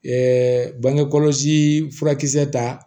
bange kɔlɔsi furakisɛ ta